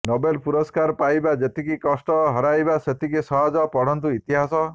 Nobel ପୁରସ୍କାର ପାଇବା ଯେତିକି କଷ୍ଟ ହରାଇବା ସେତିକି ସହଜ ପଢନ୍ତୁ ଇତିହାସ